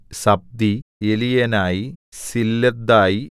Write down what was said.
സബ്ദി എലിയേനായി സില്ലെഥായി